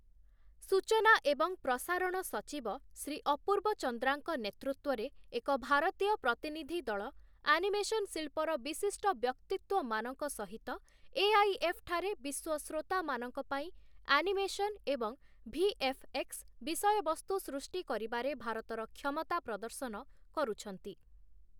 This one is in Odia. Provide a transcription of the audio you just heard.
ସୂଚନା ଏବଂ ପ୍ରସାରଣ ସଚିବ ଶ୍ରୀ ଅପୂର୍ବ ଚନ୍ଦ୍ରାଙ୍କ ନେତୃତ୍ୱରେ ଏକ ଭାରତୀୟ ପ୍ରତିନିଧିଦଳ ଆନିମେସନ୍ ଶିଳ୍ପର ବିଶିଷ୍ଟ ବ୍ୟକ୍ତିତ୍ୱମାନଙ୍କ ସହିତ ଏଆଇଏଫ୍ ଠାରେ ବିଶ୍ୱ ଶ୍ରୋତାମାନଙ୍କ ପାଇଁ ଆନିମେସନ୍ ଏବଂ ଭିଏଫ୍‌ଏକ୍ସ ବିଷୟବସ୍ତୁ ସୃଷ୍ଟି କରିବାରେ ଭାରତର କ୍ଷମତା ପ୍ରଦର୍ଶନ କରୁଛନ୍ତି ।